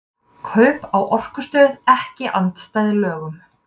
Kaup á orkustöð ekki andstæð lögum